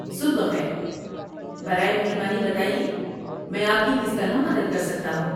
صبح بخیر، برائے مہربانی بتائیے میں آپ کی کس طرح مدد کر سکتا ہوں؟